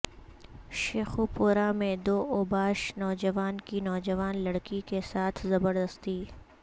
شیخوپورہ میں دو اوباش نوجوانوں کی نوجوان لڑکی کیساتھ زبردستی